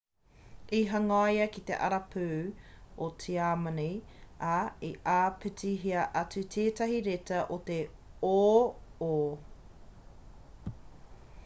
i hangaia ki te arapū o tiamani ā i āpitihia atu tētahi reta te ō/ō